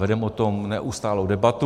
Vedeme o tom neustálou debatu.